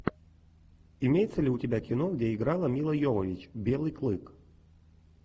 имеется ли у тебя кино где играла мила йовович белый клык